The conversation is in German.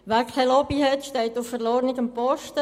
Wer keine Lobby hat, steht auf verlorenem Posten.